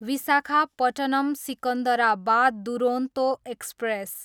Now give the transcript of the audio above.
Visakhapatnam, Secunderabad Duronto express